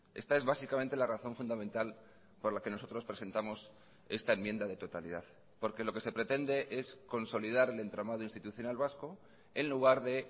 esta es básicamente la razón fundamental por la que nosotros presentamos esta enmienda de totalidad porque lo que se pretende es consolidar el entramado institucional vasco en lugar de